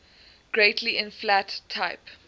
greatly inflate type